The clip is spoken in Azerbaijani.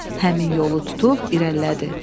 Həmin yolu tutub irəlilədi.